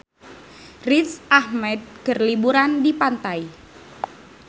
Riz Ahmed keur liburan di pantai